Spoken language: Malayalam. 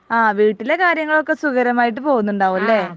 ആഹ് വീട്ടിലെ കാര്യങ്ങൾ ഒക്കെ സുഖകരമായിട്ട് പോകുന്നുണ്ടാവും അല്ലെ